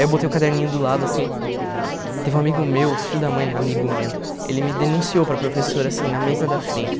Aí eu botei o caderninho do lado assim, teve um amigo meu, filho da mãe, amigo meu, ele me denunciou para a professora assim na mesa da frente.